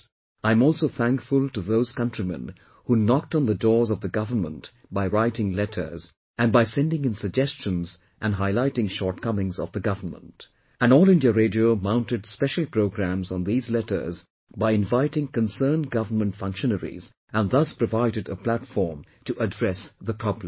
I am also thankful to those countrymen who knocked on the doors of the government by writing letters and by sending in suggestions and highlighting shortcomings of the government and All India Radio mounted special programmes on these letters by inviting concerned government functionaries and thus provided a platform to address the problems